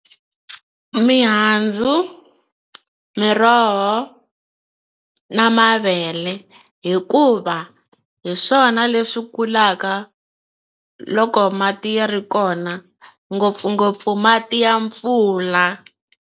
Mihandzu miroho na mavele hikuva hi swona leswi kulaka loko mati ya ri kona ngopfungopfu mati ya mpfula.